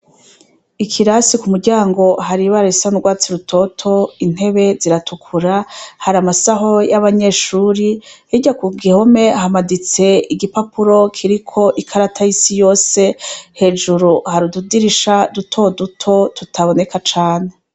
Ikirasi ku muryango hari ibara isandwatsi rutoto intebe ziratukura hari amasaho y'abanyeshuri hirya ku gihome hamaditse igipapuro kiriko ikarata y'isi yose hejuru harududirisha duto duto tutaboneka cane.